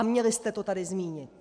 A měli jste to tady zmínit.